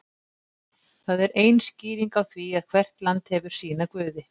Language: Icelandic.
það er ein skýringin á því að hvert land hefur sína guði